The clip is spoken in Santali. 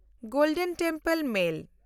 golden temple mail